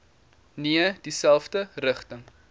nee dieselfde rigting